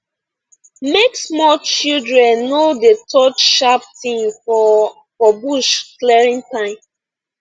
make small children no dey touch sharp thing for for bush clearing time